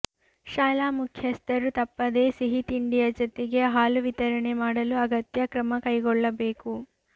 ಶಾಲಾ ಮುಖ್ಯಸ್ಥರು ತಪ್ಪದೇ ಸಿಹಿ ತಿಂಡಿಯ ಜತೆಗೆ ಹಾಲು ವಿತರಣೆ ಮಾಡಲು ಅಗತ್ಯ ಕ್ರಮ ಕೈಗೊಳ್ಳಬೇಕು